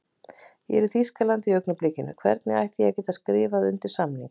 Ég er í Þýskalandi í augnablikinu, hvernig ætti ég að geta skrifað undir samning?